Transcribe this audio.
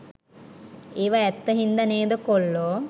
ඒවා ඇත්ත හින්ද නේද කොල්ලෝ